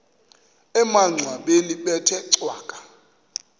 emangcwabeni bethe cwaka